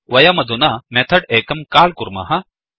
वयमधुना मेथड् एकं काल् कुर्मः